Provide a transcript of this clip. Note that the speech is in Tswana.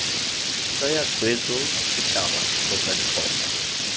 tsaya tshwetso setšhaba kgotsa ditlhopha